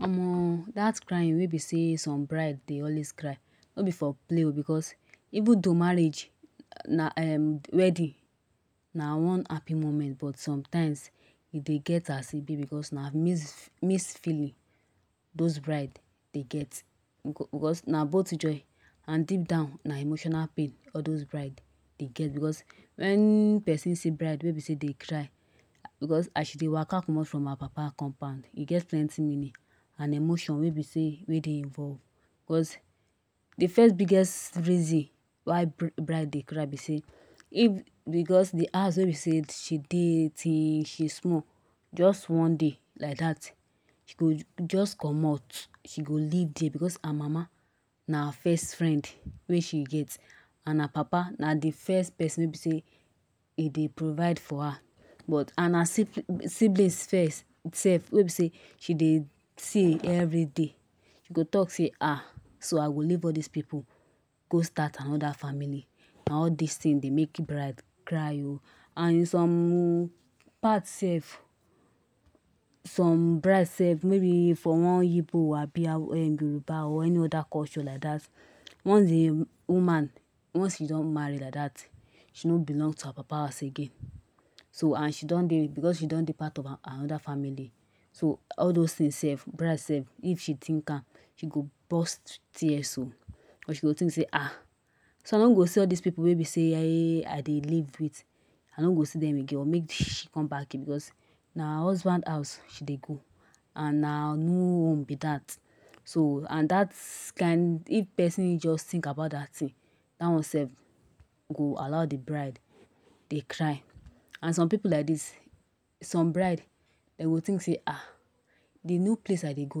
Omo that crying wey be sey some bride dey lways cry no be for play oo because even though marriage na wedding na one happy moment but sometimes e dey get as e be because na mixed feelings those bride dey get because na both joy and deep down na emotional pain all those bride dey get because when person see bride wey be sey dey cry because as she dey waka comot from her papa compound, e get plenty meaning and emotions wey be sey wey dey involve because de first biggest reason why bride dey cry be sey if because de house wey be sey she dey till she small just one day like that she go just comot She go leave there because her mama na her first friend wey she gets and her papa na de first person wey be sey e dey provide for her but and her siblings first sef wey be sey she dey see every day she go talk say ah so I go leave all those pipu go start another family na all these things dey make bride cry oh. And some parts sef some bride sef maybe from one Igbo abi Yoruba or any other culture like that once de woman once she don marry like that she no belong to her papa house again so and she don dey because she don dey part of another family so all those thing sef bride sef if she think am she go burst tears o because she go think sey um so I no go see all this pipu wey be sey I dey. leave with I no go see dem again or make she come back here because na her husband house she dey go and na her new home be that so and that kind of person just think about that thing that one sef go allow de bride dey cry and some pipu like this some bride dem go think sey ah, de new place I dey go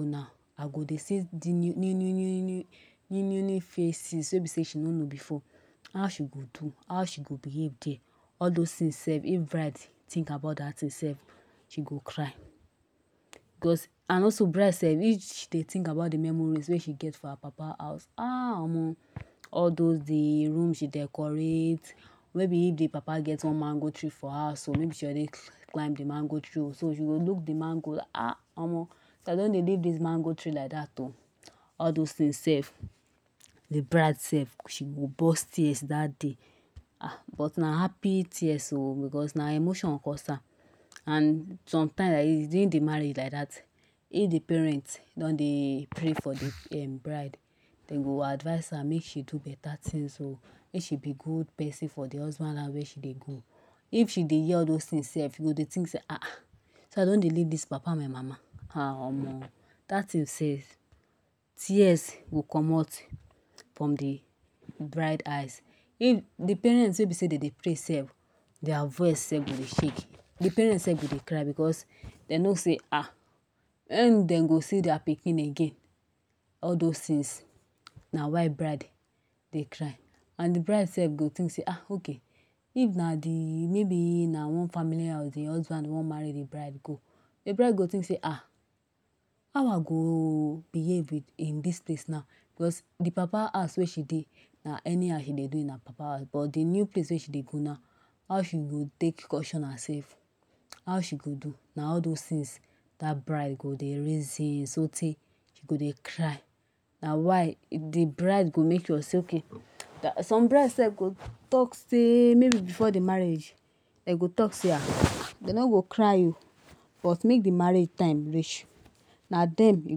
now I go dey see new new new new new new new faces wey be sey she no know before. how she go do how she go behave there all those things sef if bride think about that thing sef she go cry because and also bride sef if dey think about de memories wey she gets for her papa house um. Omo all de room wey she decorate maybe if de papa gets one mango tree for house or maybe she go dey climb de mango tree so she go dey look de mango. um omo I don dey leave this mango tree Ike that oh. all those thing sef de bride sef she go burst tears that day but na happy tears oo because na emotion cause am and sometimes like this during de marriage like that if de parent don dey pray for de um bride dem go advice am make she do better things o make she be good person o for de husband house wey she dey go if she dey hear all those things sef she go dey think sey um so I don dey leave this papa and mama um Omo that thing sef tears go commot from de bride eyes even de parents wey be sey dem dey pray sef their voice sef go dey shake de parent sef dem go dey cry because dem know sey um when dem go see their pikin again all those things na why bride dey cry and de bride sef go think sey um okay if na de maybe na one family house de husband wan marry de bride go de bride go think sey um how I go behave in this place now because de papa house wey she dey na any how she dey do in her papa house but de new place wey she dey go now how she go take Caution herself how she go do na all those things that bride go dey reason so tey she go dey cry na why de bride go make sure sey okay that's some bride sef go talk at maybe before de marriage dem go talk sey um dem no go cry oo but make de marriage time reach na there you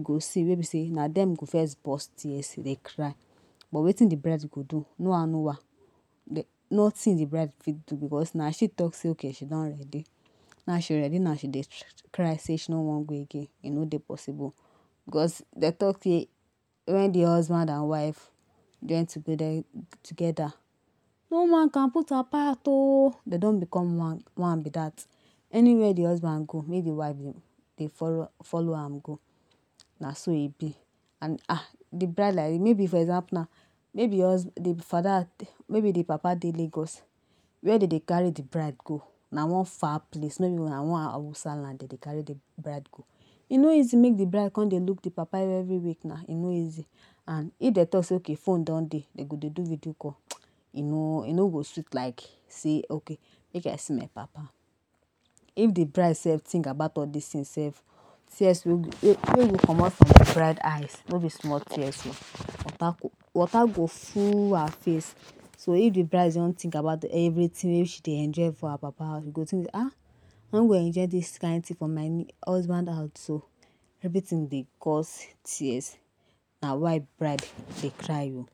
go see wey be sey na dem go first burst tears dey cry but wetin de bride go do no how no how nothing de bride go fit do because na she talk sey okay she don ready now she ready now she dey cry sey she no wan go again e no dey possible because dem talk sey When de husband and wife join together together no man can put apart o dem don become one one be that anywhere de husband go make de wife dey follow am go na so e be and um de bride like this maybe for example maybe de husb de Father maybe de papa dey Lagos were dem dey carry de bride go na one far place maybe na one Hausa land dem dey carry de bride go e no easy make de bride come dey look de papa every week na e no easy and if dem talk sey okay phone don dey dem go dey do video call e no e no go sweet like sey okay make I see my papa if de bride sef think about all this things sef tears sef wey go wey go comot for de bride eyes no be small tears oo water go water go full her face so if de bride don think about everything wey she dey enjoy for her papa house she go think sey um I no go enjoy all this kind things for my husband house oh everything dey cause tears na why bride dey cry oh.